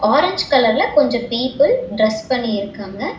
Orange கலர்ல கொஞ்சோ people dress பண்ணி இருக்காங்க.